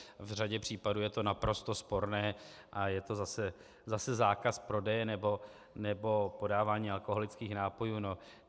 V řadě případu je to naprosto sporné a je to zase zákaz prodeje nebo podávání alkoholických nápojů.